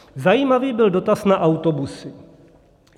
Zajímavý byl dotaz na autobusy.